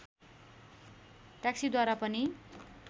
ट्याक्सीद्वारा पनि